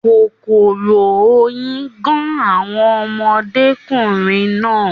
Kòkòrò oyin gán àwọn ọmọdékunrin náà.